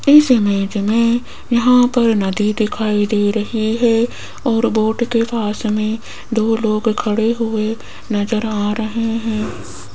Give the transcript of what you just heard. इस इमेज में यहां पर नदी दिखाई दे रही है और बोट के पास में दो लोग खड़े हुए नजर आ रहे हैं।